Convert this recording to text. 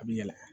A bi yɛlɛ